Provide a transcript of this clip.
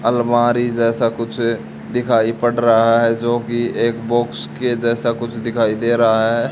अलमारी जैसा कुछ दिखाई पड़ रहा है जो की एक बॉक्स के जैसा कुछ दिखाई दे रहा है।